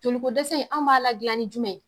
Joliko dɛsɛ in an b'a la gilan ni jumɛn ye